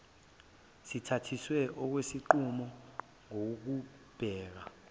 sithathiswe okwesinqumo ngokubheka